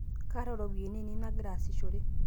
kaata iropiani ainei nagira aasishore